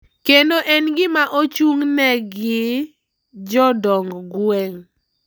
Kendo en gima ochung`ne gi jodong gweng`.